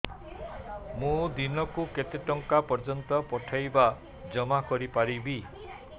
ମୁ ଦିନକୁ କେତେ ଟଙ୍କା ପର୍ଯ୍ୟନ୍ତ ପଠେଇ ବା ଜମା କରି ପାରିବି